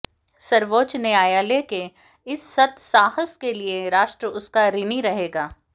सर्वोच्च न्यायालय के इस सत्साहस के लिए राष्ट्र उसका ऋणी रहेगा